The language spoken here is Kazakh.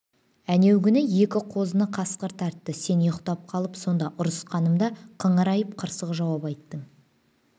әнеугүні екі қозыны қасқыр тартты сен ұйықтап қалып сонда ұрысқанымда қыңырайып қырсық жауап айттың